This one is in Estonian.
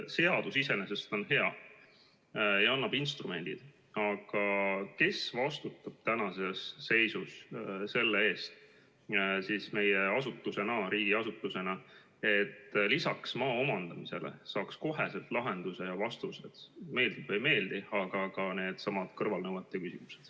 Seadus iseenesest on hea ja annab instrumendid, aga kes riigiasutusena vastutab tänases seisus selle eest, et saaks lisaks maa omandamisele kohe lahenduse ja vastuse – meeldib see siis või ei meeldi – ka needsamad kõrvalnõuete küsimused.